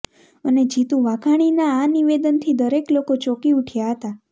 અને જીતુ વાઘણી ના આ નિવેદનથી દરેક લોકો ચોકી ઉઠ્યા હતાં